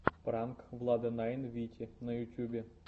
пранк влада найн вити на ютьюбе